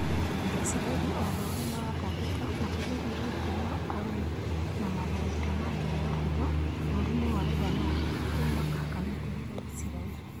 Isiraĩri onao nĩmaratangĩka makĩgeria gũtũma arũi na matharaita na njĩra ya hitho bũrũri-inĩ wa Lebanoni arĩa mahakanĩte na Isiraĩri